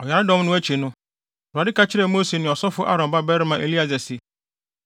Ɔyaredɔm no akyi no, Awurade ka kyerɛɛ Mose ne ɔsɔfo Aaron babarima Eleasar se,